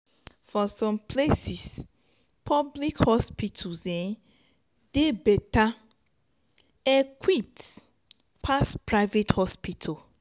for some places public hospitals um dey better equipped pass private hospitals